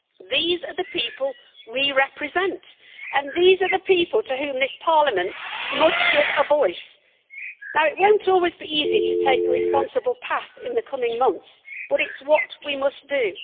These are the people we represent, and these are the people to whom this Parliament must give a voice. It will not always be easy to take the responsible path in the coming months, but it is what we must do.